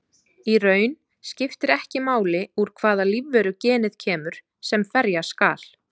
Í raun skiptir ekki máli úr hvaða lífveru genið kemur sem ferja skal.